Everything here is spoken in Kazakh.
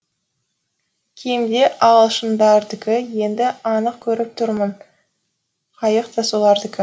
кеме де ағылшындардікі енді анық көріп тұрмын қайық та солардікі